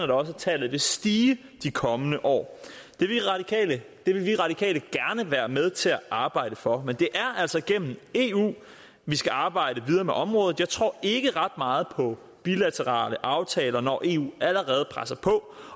da også at tallet vil stige de kommende år det vil vi radikale gerne være med til at arbejde for men det er altså gennem eu vi skal arbejde videre med området jeg tror ikke ret meget på bilaterale aftaler når eu allerede presser på